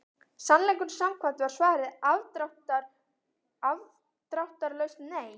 Sannleikanum samkvæmt var svarið afdráttarlaust nei.